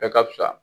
Bɛɛ ka fisa